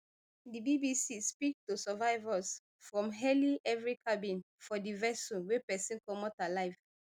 di bbc speak to survivors from nearly every cabin for di vessel wey pesin comot alive